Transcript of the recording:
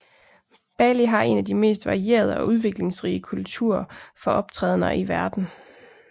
Bali har en af de mest varierede og udviklingsrige kulturer for optrædener i verden